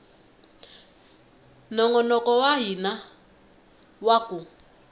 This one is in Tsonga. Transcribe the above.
nongonoko wa hina wa ku